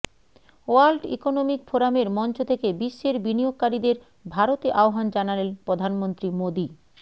world economic ফোরামের মঞ্চ থেকে বিশ্বের বিনিয়োগকারীদের ভারতে আহ্বান জানালেন প্রধানমন্ত্রী মোদী